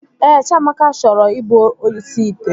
Ee, Chiamaka chọrọ ị bụ oshi ite